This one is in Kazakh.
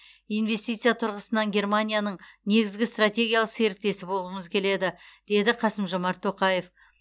инвестиция тұрғысынан германияның негізгі стратегиялық серіктесі болғымыз келеді деді қасым жомарт тоқаев